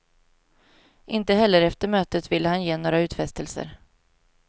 Inte heller efter mötet ville han ge några utfästelser.